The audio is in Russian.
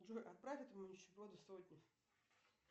джой отправь этому нищеброду сотню